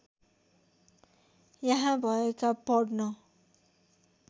यहाँ भएका पढ्न